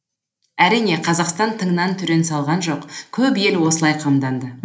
әрине қазақстан тыңнан түрен салған жоқ көп ел осылай қамданды